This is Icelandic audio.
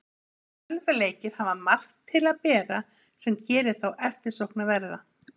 Tölvuleikir hafa margt til að bera sem gerir þá eftirsóknarverða.